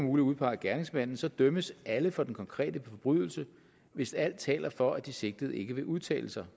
udpege gerningsmanden så dømmes alle for den konkrete forbrydelse hvis alt taler for at de sigtede ikke vil udtale sig